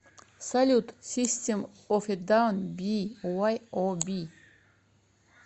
салют систем оф э даун би уай о би